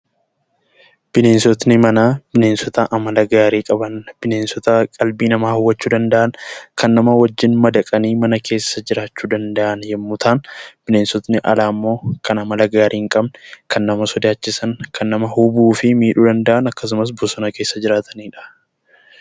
Bineensotni manaa bineensota amala gaarii qaban, bineensota qalbii namaa hawwachuu danda'an, kan nama wajjin madaqanii mana keessa jiraachuu danda'an yommuu ta'an, bineensonni alaa immoo kan amala gaarii hin qabne, kan nama sodaachisan, kan nama hubuu fi miidhuu danda'an, akkasumas bosona keessa jiraatanidha.